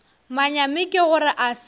manyami ke gore a se